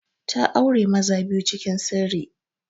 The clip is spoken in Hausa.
Ta aure maza biyu cikin sirri.